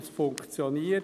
Es funktioniert.